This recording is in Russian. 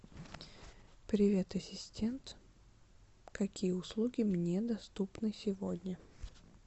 привет ассистент какие услуги мне доступны сегодня